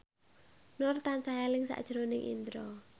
Nur tansah eling sakjroning Indro